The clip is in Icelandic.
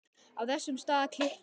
Á þessum stað klykkir